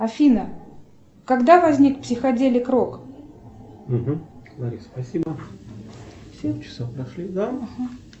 афина когда возник психоделик рок